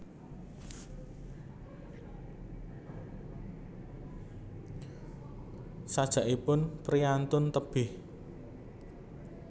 Sajakipun priyantun tebih